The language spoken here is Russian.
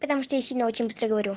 потому что я сильно очень быстро говорю